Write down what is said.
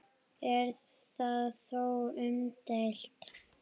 Er það þó umdeilt